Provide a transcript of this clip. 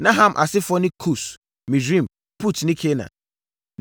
Na Ham asefoɔ ne Kus, Misraim, Put ne Kanaan.